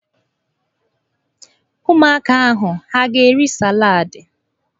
Ụmụaka ahụ ha a ga-eri saladị?